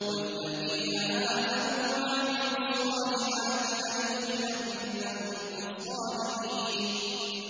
وَالَّذِينَ آمَنُوا وَعَمِلُوا الصَّالِحَاتِ لَنُدْخِلَنَّهُمْ فِي الصَّالِحِينَ